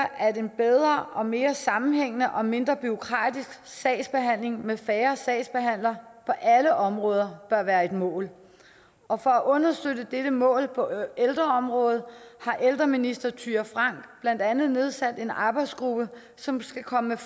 at en bedre og mere sammenhængende og mindre bureaukratisk sagsbehandling med færre sagsbehandlere på alle områder bør være et mål og for at understøtte dette mål på ældreområdet har ældreministeren blandt andet nedsat en arbejdsgruppe som skal komme med